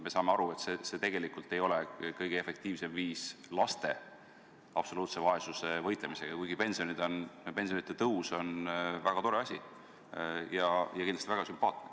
Me saame aru, et see tegelikult ei ole kõige efektiivsem viis laste absoluutse vaesusega võidelda, kuigi pensionide tõus on väga tore asi ja kindlasti väga sümpaatne.